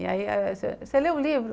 E aí você lê o livro?